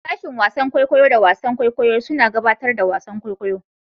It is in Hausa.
Sashen wasan kwaikwayo da wasan kwaikwayo suna gabatar da wasan kwaikwayo.